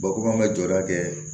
Bakuruba jɔyɔrɔ kɛ